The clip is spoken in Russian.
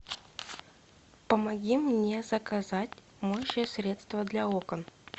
помоги мне заказать моющее средство для окон